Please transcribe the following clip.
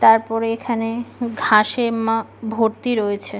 তারপরে এখানে ঘাসে মা ভর্তি রয়েছে ।